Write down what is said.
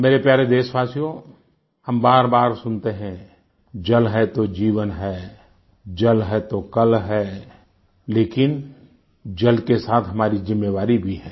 मेरे प्यारे देशवासियो हम बारबार सुनते हैं जल है तो जीवन है जल है तो कल है लेकिन जल के साथ हमारी जिम्मेवारी भी है